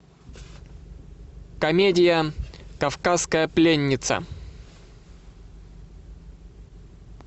комедия кавказская пленница